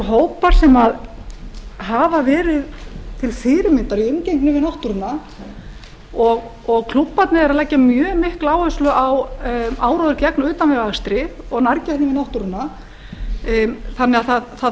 hópar sem hafa verið til fyrirmyndar í umgengni við náttúruna og klúbbarnir eru að leggja mjög mikla áherslu á áróður gegn utanvegaakstri og nærgætni við náttúruna þannig að það þarf